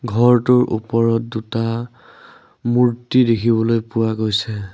ঘৰটোৰ ওপৰত দুটা মূৰ্ত্তি দেখিবলৈ পোৱা গৈছে।